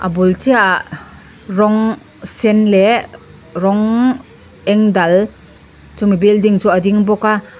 a bul chiah ah rawng sen leh rawng eng Dal chumi building chu a ding bawk a--